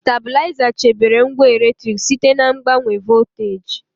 Stabịlaịza chebere ngwa eletriki site na mgbanwe volteji.